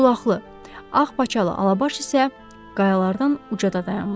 Ağqulaqlı, ağ paçalı Alabaş isə qayalardan ucada dayanmışdı.